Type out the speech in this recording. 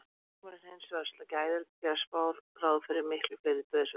Verði sjúkdómurinn hins vegar skæður gera spár ráð fyrir miklu fleiri dauðsföllum.